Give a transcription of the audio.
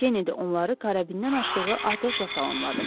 Kenedi onları karabindən açdığı atəşlə salamladı.